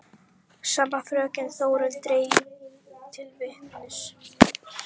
Hver hafði getað svikið hann svona herfilega og hvers vegna?